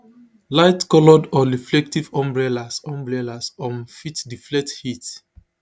lightcoloured or reflective umbrellas umbrellas um fit deflect heat